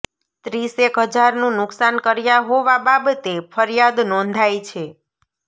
ત્રીસેક હજારનું નુકસાન કર્યા હોવા બાબતે ફરિયાદ નોંધાઇ છે